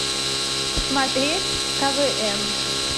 смотреть квн